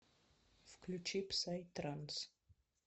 включи псай транс